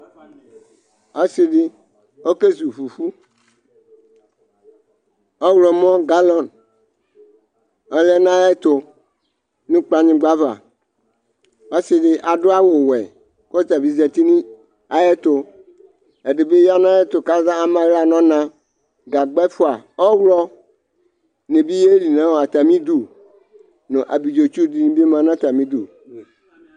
Ɔdɩ ɔkezu fufu, ɔɣlɔmɔ galɔn ɔlɛ nʋ ayʋ ɛtʋ nʋ kplanyigba ava, ɔsɩ dɩ adʋ awʋ wɛ kʋ ɔta bɩ zati nʋ ayʋ ɛtʋ, ɛdɩ bɩ ya nʋ ayʋ ɛtʋ kʋ ama aɣla nʋ ɔna, gagba ɛfʋa, ɔɣlɔnɩ bɩ yeli nʋ atamɩ idu nʋ abidzotsu dɩnɩ bɩ ma nʋ atamɩ idu